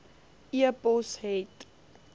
e pos het